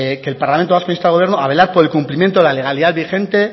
que el parlamento vasco insta al gobierno a velar por el cumplimiento de la legalidad vigente